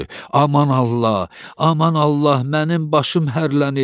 Aman Allah, aman Allah, mənim başım hərlənir.